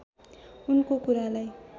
उनको कुरालाई